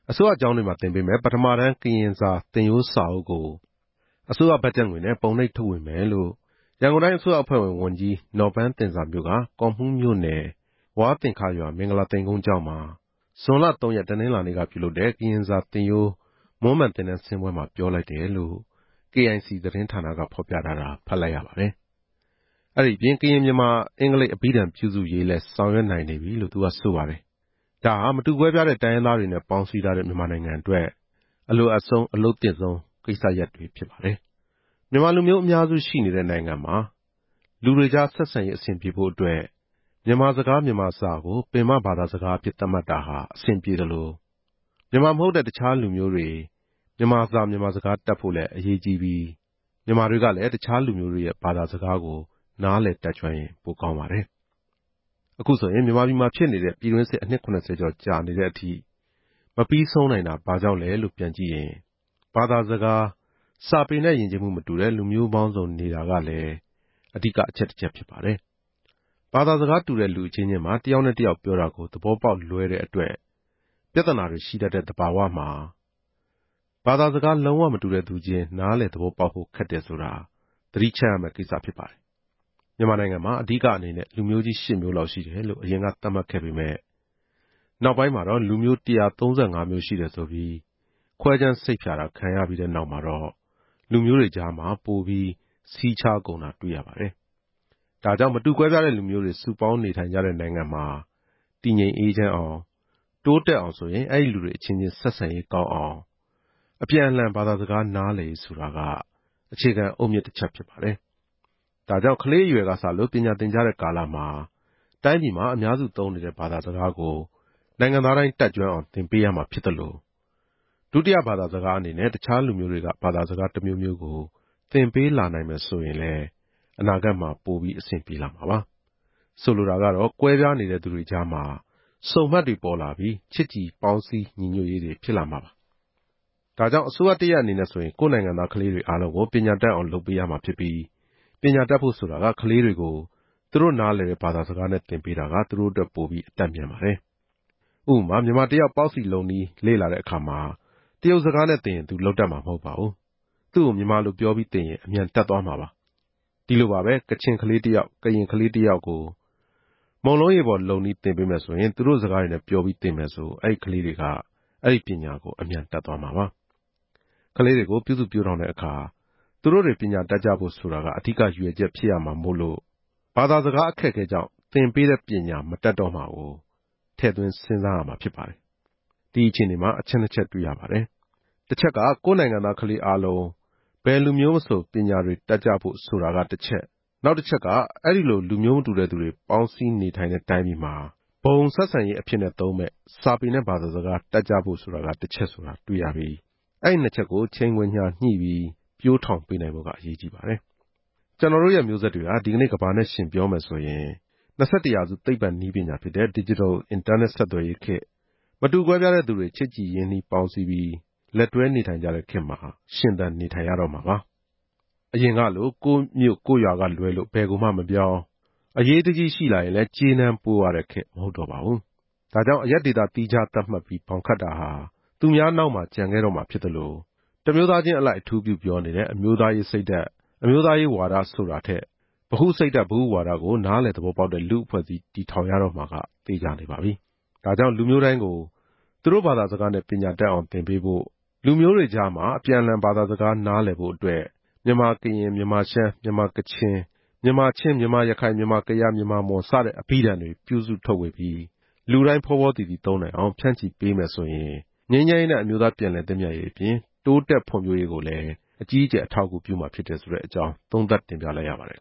အစိုးရကျောင်းတွေမှာသင်ပေးမယ့် ပထမတန်း ကရင်စာသင်ရိုးစာအုပ်ကို အစိုးရဘတ်ဂျက်ငွေနဲ့ ပုံနှိပ်ထုတ်ဝေမယ်လို့ ရန်ကုန်တိုင်းအစိုးရအဖွဲ့ဝင် ဝန်ကြီးနော်ပန်းသဉ္ဇာမျိုးက ကော့မှူးမြို့နယ် ဝါးသင်္ခရွာ မင်္ဂလာသိမ်ကုန်း ကျောင်းမှာ ဇွန်လ ၃ ရက်၊ တနင်္လာနေ့ကပြုလုပ်တဲ့ ကရင်စာသင်ရိုး မွမ်းမံသင်တန်းဆင်းပွဲ မှာပြောလိုက်တယ်လို့ KIC သတင်းဌာနက ဖော်ပြထားတာ ဖတ်လိုက်ရပါတယ်။ အဲဒီအပြင် ကရင်-မြန်မာ-အင်္ဂလိပ် အဘိဓာန်ပြုစုရေးလည်း ဆောင်ရွက်နိုင်နေပြီလို့ဆိုပါတယ်။ ဒါဟာ မတူကွဲပြားတဲ့ တိုင်းရင်းသားတွေနဲ့ ပေါင်းစည်းထားတဲ့ မြန်မာနိုင်ငံအတွက် အလိုအပ်ဆုံး၊ အလုပ်သင့်ဆုံး ကိစ္စရပ်တွေ ဖြစ်ပါတယ်။ မြန်မာလူမျိုးအများစုရှိနေတဲ့ နိုင်ငံမှာ လူတွေကြား ဆက်ဆံရေးအဆင်ပြေဖို့အတွက် မြန်မာစကား၊ မြန်မာစာကို ပင်မဘာသာစကားအဖြစ် သတ်မှတ်တာဟာ အဆင်ပြေသလို၊ မြန်မာမဟုတ်တဲ့ တခြားလူမျိုးတွေ မြန်မာစာ၊ မြန်မာစကားတတ်ဖို့လည်း အရေးကြီးသလို မြန်မာတွေကလည်း တခြားလူမျိုးတွေရဲ့ ဘာသာစကားကို နားလည်တတ်ကျွမ်းရင် ပိုကောင်းပါတယ်။ အခုဆိုရင် မြန်မာပြည်မှာဖြစ်နေတဲ့ ပြည်တွင်းစစ် အနှစ် ၇ဝ ကျော်ကြာနေတဲ့အထိ မပြီးဆုံးနိုင်တာဘာကြောင့် လဲလို့ ပြန်ကြည့်ရင်၊ ဘာသာစကား၊ စာပေနဲ့ ယဉ်ကျေးမှုမတူတဲ့ လူမျိုးပေါင်းစုံနေတာကလည်း အဓိက အချက်တချက်ဖြစ်ပါတယ်။ ဘာသာစကားတူတဲ့ လူအချင်းချင်းမှာ တယောက်နဲ့တယောက်ပြောတာကို သဘောပေါက်လွဲတဲ့အတွက် ပြဿနာတွေ ရှိတတ်တဲ့သဘာဝမှာ၊ ဘာသာစကား လုံးဝမတူတဲ့သူချင်း နားလည်သဘောပေါက်ဖို့ ခက်တယ်ဆိုတာ သတိချပ်ရမယ့်ကိစ္စဖြစ်ပါတယ်။ မြန်မာနိုင်ငံမှာ အဓိကအနေနဲ့ လူမျိုးကြီးရှစ်မျိုးလောက် ရှိတယ်လို့ အရင်ကသတ်မှတ်ခဲ့ပေမယ့် နောက်ပိုင်းမှာ လူမျိုး ၁၃၅ မျိုးရှိတယ်ဆိုပြီး ခွဲခြမ်းစိတ်ဖြာတာခံရတဲ့နောက် လူမျိုးတွေကြား ပိုပြီး စည်းခြားကုန်တာတွေ့ရပါတယ်။ ဒါကြောင့် မတူကွဲပြားတဲ့လူမျိုးတွေ စုပေါင်းနေထိုင်ကြတဲ့ နိုင်ငံမှာ တည်ငြိမ်အေးချမ်းအောင်၊ တိုးတက်အောင်ဆိုရင် အဲဒီလူတွေအချင်းချင်း ဆက်ဆံရေးကောင်းအောင် အပြန်အလှန် ဘာသာစကားနားလည်ရေးဆိုတာက အခြေခံအုတ်မြစ်တချပ်ဖြစ်ပါတယ်။ ဒါကြောင့် ကလေးအရွယ် ကစလို့ ပညာသင်ကြတဲ့ကာလမှာ တိုင်းပြည်မှာ အများစုသုံးနေတဲ့ဘာသာစကားကို နိုင်ငံသားတိုင်းတတ် ကျွမ်းအောင် သင်ပေးရမှာဖြစ်သလို ဒုတိယဘာသာစကားအနေနဲ့ တခြားလူမျိုးတွေထဲက ဘာသာစကားတမျိုးမျိုးကို သင်ပေးလာနိုင်မယ်ဆိုရင်လဲ အနာဂတ်မှာ အဆင်ပြေလာမှာပါ။ ဆိုလိုတာက ကွဲပြားနေတဲ့သူ တွေကြား ဆုံမှတ်တွေပေါ်လာပြီး၊ ချစ်ကြည်ညီညွတ် ပေါင်းစည်းရေးတွေဖြစ်လာမှာပါ။ ဒါကြောင့် အစိုးရတရပ်အနေနဲ့ဆိုရင် ကိုယ့်နိုင်ငံသားကလေးတွေအားလုံးကို ပညာတတ်အောင်လုပ်ပေးရမှာဖြစ်ပြီး၊ ပညာတတ်ဖို့ဆိုတာက ကလေးတွေကို သူတို့နားလည်တဲ့ ဘာသာစကားနဲ့သင်ပေးတာက သူတို့အတွက် ပိုပြီးအတတ်မြန်ပါတယ်။ ဥပမာ - မြန်မာတယောက် ပေါက်စီလုပ်နည်းလေ့လာတဲ့အခါ တရုတ်စကား နဲ့သင်ရင် သူလုပ်တတ်မှာမဟုတ်ပါဘူး။ သူ့ကို မြန်မာလိုပြောပြီးသင်ရင် အမြန်တတ်သွားမှာပါ။ ဒီလိုပါပဲ။ ကချင်ကလေးတယောက်၊ ကရင်ကလေးတယောက်ကို မုန့်လုံးရေပေါ်လုပ်နည်းသင်ပေးမယ်ဆိုရင် သူတို့ စကားတွေနဲ့ပြောပြီး သင်မယ်ဆို အဲဒီကလေးတွေက အဲဒီပညာကိုအမြန်တတ်သွားကြမှာပါ။ ကလေးတွေကို ပြုစုပျိုးထောင်တဲ့အခါ သူတို့တွေ ပညာတွေတတ်ကြဖို့ဆိုတာ အဓိကရည်ရွယ်ချက် ဖြစ်ရမှာမို့လို့ ဘာသာစကားအခက်အခဲကြောင့် သင်ပေးတဲ့ပညာမတတ်တော့မှာကို ထည့်စဉ်းစားရမှာဖြစ်ပါတယ်။ ဒီအခြေအနေမှာ အချက်နှစ်ချက်တွေ့ရပါတယ်။ တချက်က - ကိုယ့်နိုင်ငံသားကလေးအားလုံး ဘယ်လူမျိုးမဆို ပညာတွေတတ်ကြဖို့ဆိုတာက တချက်၊ နောက်တချက်က- အဲဒီလို လူမျိုးမတူတဲ့သူတွေ စုပေါင်းနေထိုင်တဲ့တိုင်းပြည်မှာ ဘုံဆက်ဆံရေးအဖြစ်သုံးမယ့် စာပေနဲ့ဘာသာ စကားတတ်ကြဖို့က တချက်ဆိုတာတွေ့ရပြီး၊ အဲဒီနှစ်ချက်ကို ချိန်ခွင်လျှာညှိပြီး ပျိုးထောင်ပေးနိုင်ဖို့က အရေးကြီးပါတယ်။ ကျနော်တို့ရဲ့မျိုးဆက်တွေဟာ ဒီနေ့ကမ္ဘာနဲ့ယှဉ်ပြောမယ်ဆိုရင် ၂၁ ရာစု သိပ္ပံနည်းပညာဖြစ်တဲ့ ဒစ်ဂျစ်တယ် အင်တာနက်ဆက်သွယ်ရေးခေတ်၊ မတူကွဲပြားတဲ့သူတွေ ချစ်ကြည်ရင်းနှီးပေါင်းစည်းပြီး၊ လက်တွဲနေကြတဲ့ခေတ်မှာ ရှင်သန်နေထိုင်ရတော့မှာပါ။ အရင်ကလို၊ ကိုယ့်မြို့ကိုယ့်ရွာကလွဲလို့ ဘယ်ကိုမှမပြောင်း၊ အရေးကြီးရင်လည်း ကြေးနန်းပို့ရတဲ့ခေတ်မဟုတ်တော့ပါဘူး။ ဒါကြောင့် အရပ်ဒေသ သီးခြားသတ်မှတ်ပြီး ဘောင်ခတ်တာဟာ သူများနောက်မှာ ကျန်ခဲ့တော့မှာဖြစ်သလို တမျိုးသားချင်းအလိုက် အထူးပြုပြောနေကြတဲ့ အမျိုးသားရေး စိတ်ဓာတ်၊ အမျိုးသားရေးဝါဒဆိုတာထက် ဗဟုစိတ်ဓါတ်၊ ဗဟုဝါဒကို နားလည်သဘောပေါက်တဲ့ လူ့အဖွဲ့ အစည်း တည်ထောင်ရတော့မှာက သေချာနေပါပြီ။ ဒါကြောင့် လူမျိုးတိုင်းကို သူတို့ဘာသာစကားနဲ့ ပညာတတ်အောင်အားပေးဖို့၊ လူမျိုးတွေကြားမှာ အပြန်အလှန် ဘာသာစကားနားလည်ဖို့အတွက် မြန်မာ-ကရင်၊ မြန်မာ-ရှမ်း၊ မြန်မာ-ကချင်၊ မြန်မာ-ချင်း၊ မြန်မာ-ရခိုင်၊ မြန်မာ-ကယား၊ မြန်မာ-မွန် စတဲ့ အဘိဓာန်တွေ ပြုစုထုတ်ဝေပြီး လူတိုင်းဖောဖောသီသီသုံးနိုင်အောင် ဖြန့်ချိပေးမယ်ဆိုရင် ငြိမ်းချမ်းရေးနဲ့ အမျိုးသားသင့်မြတ်ရေးအပြင် တိုးတက်ဖွံ့ဖြိုးရေးကိုလည်း အကြီးအကျယ် အထောက်အကူပြုမှာဖြစ်ကြောင်း သုံးသပ်တင်ပြလိုက်ရပါတယ်